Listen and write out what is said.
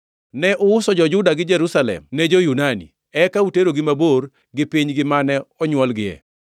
Ne uuso jo-Juda gi Jerusalem ne jo-Yunani, eka utergi mabor gi pinygi mane onywolgie.